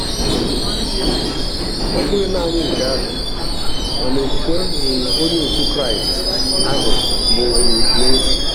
um Ọ bụghị nanị nke ahụ, mana okwukwe um Onye otu Kraịst ahụ bụ um n'efu.